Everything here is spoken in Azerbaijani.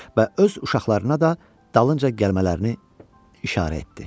Və öz uşaqlarına da dalınca gəlmələrini işarə etdi.